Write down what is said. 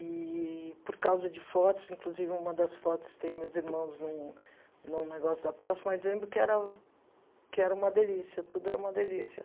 Eee por causa de fotos, inclusive uma das fotos tem meus irmãos num num negócio da praça, mas lembro que era que era uma delícia, tudo era uma delícia.